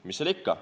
Mis seal ikka.